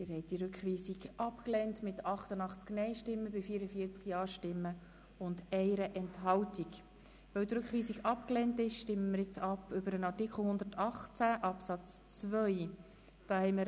Weil Sie den Rückweisung abgelehnt haben, stimmen wir über den Artikel 118 Absatz 2 ab.